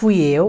Fui eu.